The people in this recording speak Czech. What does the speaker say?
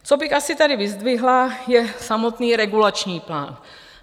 Co bych asi tady vyzdvihla, je samotný regulační plán.